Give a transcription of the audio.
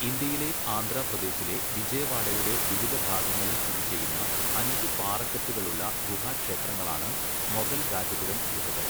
ഇന്ത്യയിലെ ആന്ധ്രാപ്രദേശിലെ വിജയവാഡയുടെ വിവിധ ഭാഗങ്ങളിൽ സ്ഥിതി ചെയ്യുന്ന അഞ്ച് പാറക്കെട്ടുകളുള്ള ഗുഹാക്ഷേത്രങ്ങളാണ് മൊഗൽരാജപുരം ഗുഹകൾ.